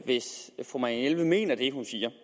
hvis fru marianne jelved mener det hun siger